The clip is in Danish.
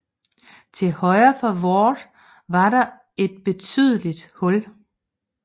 Til højre for Ward var der et betydeligt hul